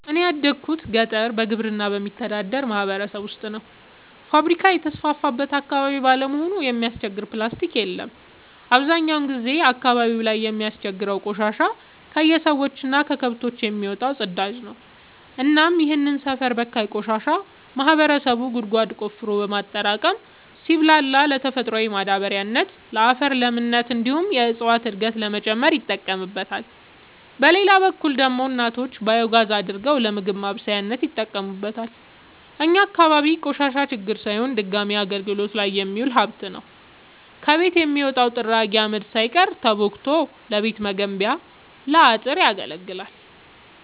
እኔ ያደጉት ገጠር በግብርና በሚተዳደር ማህበረሰብ ውስጥ ነው። ፋብሪካ የተስፋፋበት አካባቢ ባለመሆኑ የሚያስቸግር ፕላስቲ የለም አብዛኛውን ጊዜ አካባቢው ላይ የሚያስቸግረው ቆሻሻ የከሰዎች እና ከከብቶች የሚወጣው ፅዳጅ ነው እናም ይህንን ሰፈር በካይ ቆሻሻ ማህበረሰቡ ጉድጓድ ቆፍሮ በማጠራቀም ሲብላላ ለተፈጥሯዊ ማዳበሪያነት ለአፈር ለምነት እንዲሁም የእፀዋትን እድገት ለመጨመር ይጠቀምበታል። በሌላ በኩል ደግሞ እናቶች ባዮጋዝ አድርገው ለምግብ ማብሰያነት ይጠቀሙበታል። እኛ አካባቢ ቆሻሻ ችግር ሳይሆን ድጋሚ አገልግት ላይ የሚውል ሀብት ነው። ከቤት የሚወጣው ጥራጊ አመድ ሳይቀር ተቦክቶ ለቤት መገንቢያ ለአጥር ያገለግላል።